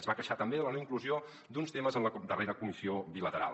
es va queixar també de la no inclusió d’uns temes en la darrera comissió bila·teral